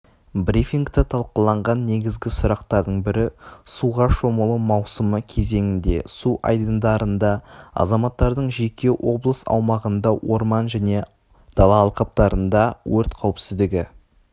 брифингта талқыланған негізгі сұрақтардың бірі суға шомылу маусымы кезеңінде су айдындарында азаматтардың және облыс аумағында орман және дала алқаптарында өрт қауіпсіздігі